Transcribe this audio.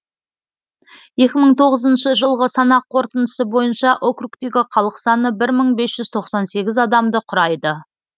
екі мың тоғызыншы жылғы санақ қорытындысы бойынша округтегі халық саны бір мың бес жүз тоқсан сегіз адамды құрайды